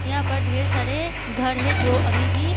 यहां पर ढेर सारे घर है जो अभी भी --